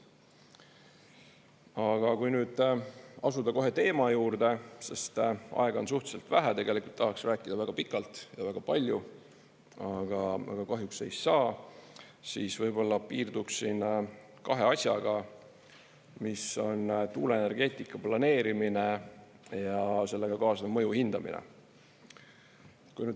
Aga kui nüüd asuda kohe teema juurde, sest aega on suhteliselt vähe – tegelikult tahaks rääkida väga pikalt ja väga palju, aga kahjuks ei saa –, siis võib-olla piirduksin kahe asjaga, mis on tuuleenergeetika planeerimine ja sellega kaasnev mõju hindamine.